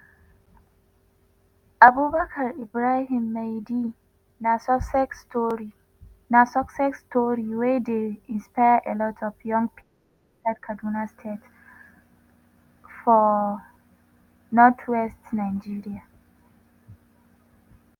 abubakar ibrahim maidi na success tori wey dey inspire a lot of young pipo inside kaduna state for northwest nigeria.